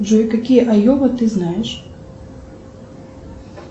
джой какие айова ты знаешь